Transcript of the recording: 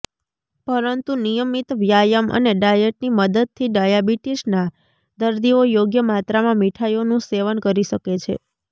પરંતુ નિયમિત વ્યાયામ અને ડાયટની મદદથી ડાયાબિટીસના દર્દીઓ યોગ્ય માત્રામાં મિઠાઈઓનું સેવન કરી શકે છે